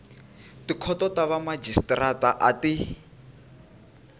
tikhoto ta vamajisitarata a ti